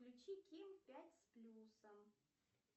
включи ким пять с плюсом